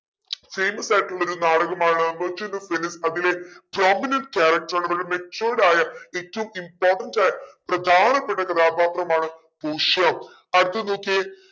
famous ആയിട്ടുള്ളൊരു നാടകമാണ് merchant of venice അതിലെ prominent character ആണ് വളരെ matured ആയ ഏറ്റവും important പ്രധാനപ്പെട്ട കഥാപാത്രമാണ് പോഷിയ അടുത്തത് നോക്കിയേ